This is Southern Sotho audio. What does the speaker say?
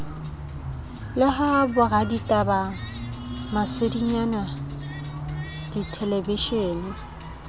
le ha boraditaba masedinyana dithelebishene